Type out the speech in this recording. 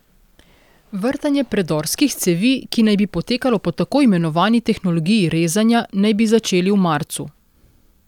Vrtanje predorskih cevi, ki naj bi potekalo po tako imenovani tehnologiji rezanja, naj bi začeli v marcu.